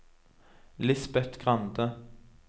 Lisbeth Grande